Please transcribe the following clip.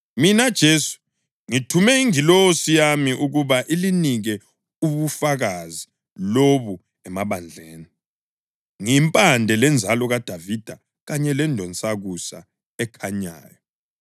Mina Jesu, ngithume ingilosi yami ukuba ilinike ubufakazi lobu emabandleni. NgiyiMpande leNzalo kaDavida, kanye leNdonsakusa ekhanyayo.”